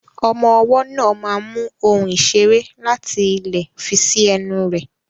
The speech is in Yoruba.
Ọmọ ọwọ́ náà máa mu ohun ìṣeré láti ilẹ̀ fi sí ẹnu rẹ̀.